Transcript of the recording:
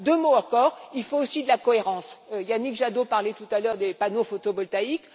Deux mots encore, il faut aussi de la cohérence. Yannick Jadot parlait tout à l'heure des panneaux photovoltaïques